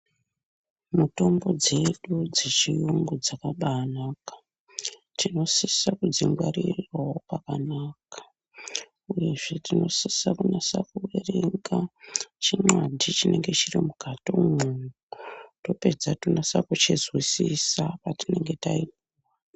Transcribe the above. Mitombo dzedu dzechirungu dzakanaka Tinosisa kudzingwarirawo pakanaka uyezve tinosisa kunyazo kuverenga chimhandi chinenge chiri mukati umu topedza tonaso kuchinzwisisa patinenge ta..